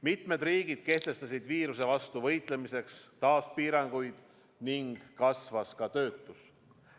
Mitmed riigid kehtestasid viiruse vastu võitlemiseks taas piiranguid ning kasvas töötus.